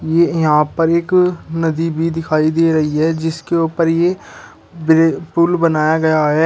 ये यहां पर एक नदी भी दिखाई दे रही है जिसके ऊपर ये पूल बनाया गया है।